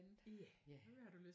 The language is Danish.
Ja